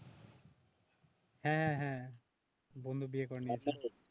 হ্যাঁ হ্যাঁ বন্ধু বিয়ে করে নিয়েছে